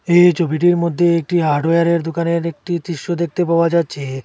এই ছবিটির মদ্যে একটি হার্ডওয়্যার এর দোকানের একটি দৃশ্য দেখতে পাওয়া যাচ্চে।